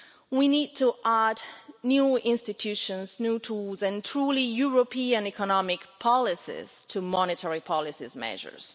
We need to add new institutions, new tools and truly European economic policies to monetary policy measures.